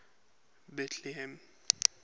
betlehem